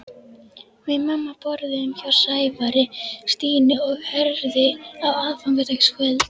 Við mamma borðuðum hjá Sævari, Stínu og Herði á aðfangadagskvöld.